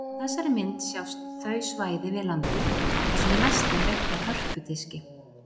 Á þessari mynd sjást þau svæði við landið þar sem mest er veitt af hörpudiski.